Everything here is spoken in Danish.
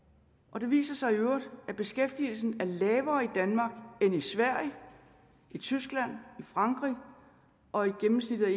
og det viser sig i øvrigt at beskæftigelsen er lavere i danmark end i sverige tyskland frankrig og i gennemsnittet